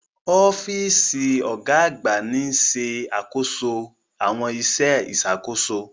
Ọ́fíìsì ọ̀gá àgbà ń ṣe àkóso àwọn iṣẹ́ ìṣàkóso.